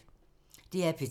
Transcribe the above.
DR P3